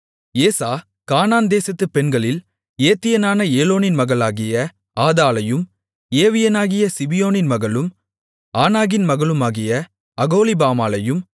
ஏசா கானான் தேசத்துப் பெண்களில் ஏத்தியனான ஏலோனின் மகளாகிய ஆதாளையும் ஏவியனாகிய சிபியோனின் மகளும் ஆனாகின் மகளுமாகிய அகோலிபாமாளையும்